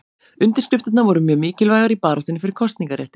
Undirskriftirnar voru mjög mikilvægar í baráttunni fyrir kosningarétti.